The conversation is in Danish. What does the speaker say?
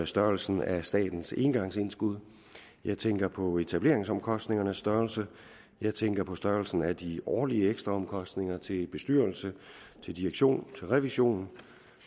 størrelsen af statens engangsindskud jeg tænker på etableringsomkostningernes størrelse jeg tænker på størrelsen af de årlige ekstraomkostninger til bestyrelse til direktion til revision